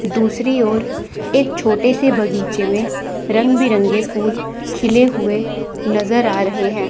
दूसरी ओर एक छोटे से बगीचे में रंग बिरंगे फूल खिले हुए नजर आ रहे हैं।